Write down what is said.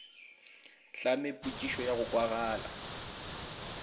hlame potšišo ya go kwagala